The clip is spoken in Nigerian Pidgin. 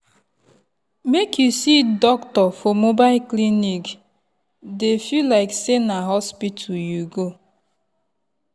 make you see doctor for mobile clinic dey feel like say na hospital you go.